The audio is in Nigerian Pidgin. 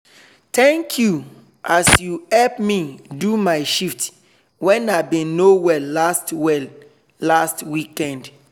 thank you as you help me do my shift when i been no well last well last weekend.